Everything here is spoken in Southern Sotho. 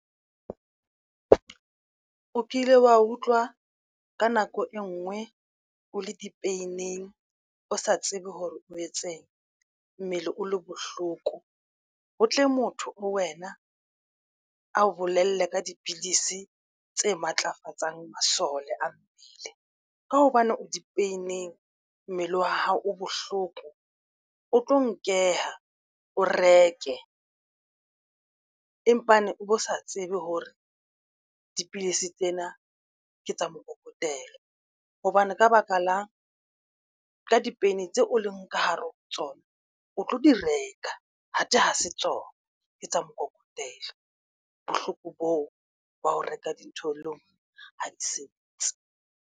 O kile wa utlwa ka nako e nngwe o le di-pain-eng o sa tsebe hore o etseng mmele o le bohloko ho tle motho ho wena a o bolelle ka dipilisi tse matlafatsang masole a mmele ka hobane o di peneng. Mmele wa hao o bohloko o tlo nkela o reke empaneng o bo sa tsebe hore dipilisi tsena ke tsa mokokotelo hobane ka baka la ka di-pain tseo o leng ka hare hare ho tsona o tlo di reka athe ha se tsona ke tsa mokokotelo. Bohloko boo ba ho reka dintho ha di sebetse.